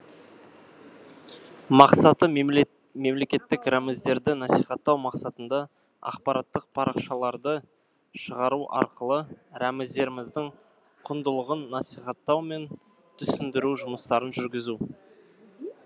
мақсаты мемлекеттік рәміздерді насихаттау мақсатында ақпараттық парақшаларды шығару арқылы рәміздеріміздің құндылығын насихаттау мен түсіндіру жұмыстарын жүргізу